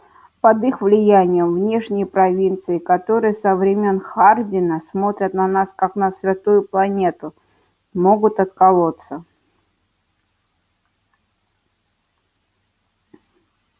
под их влиянием внешние провинции которые со времён хардина смотрят на нас как на святую планету могут отколоться